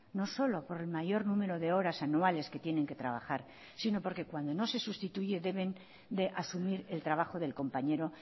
no solo por el mayor número de horas anuales que tienen que trabajar sino porque cuando no se sustituye deben de asumir el trabajo del compañero